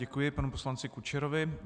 Děkuji panu poslanci Kučerovi.